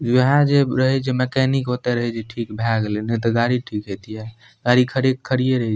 वहे जे रहे जे मेकैनिक आते रहे छै ठीक भय गएले न त गाड़ी ठीक हेतिया गाड़ी खड़े के खड़िये रही --